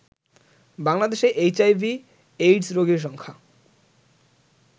বাংলাদেশে এইচআইভি/এইডস রোগীর সংখ্যা